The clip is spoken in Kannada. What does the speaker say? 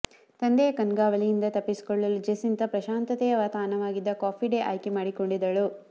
ತಂದೆಯ ಕಣ್ಗಾವಲಿನಿಂದ ತಪ್ಪಿಸಿಕೊಳ್ಳಲು ಜೆಸ್ಸಿಂತಾ ಪ್ರಶಾಂತತೆಯ ತಾಣವಾಗಿದ್ದ ಕಾಫಿ ಡೇ ಆಯ್ಕೆ ಮಾಡಿಕೊಂಡಿದ್ದಳು